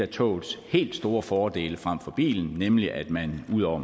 togets helt store fordele frem for bilen nemlig at man ud over